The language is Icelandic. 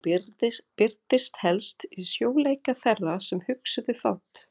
Hún birtist helst í sljóleika þeirra sem hugsuðu fátt.